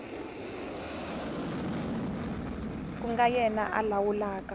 ku nga yena a lawulaka